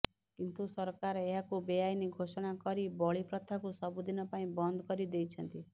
କିନ୍ତୁ ସରକାର ଏହାକୁ ବେଆଇନ୍ ଘୋଷଣା କରି ବଳି ପ୍ରଥାକୁ ସବୁଦିନ ପାଇଁ ବନ୍ଦ କରି ଦେଇଛନ୍ତି